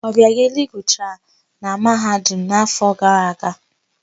Ọbịageli gụchara na Mahadum n'áfọ̀ gara aga.